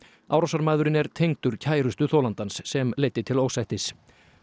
árásarmaðurinn er tengdur kærustu þolandans sem leiddi til ósættis